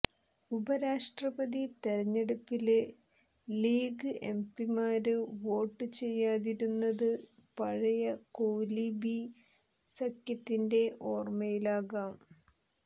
ഉപരാഷ്ട്രപതി തെരഞ്ഞെടുപ്പില് ലീഗ് എംപിമാര് വോട്ട് ചെയ്യാതിരുന്നത് പഴയ കോലീബി സഖ്യത്തിന്റെ ഓര്മയിലാകാം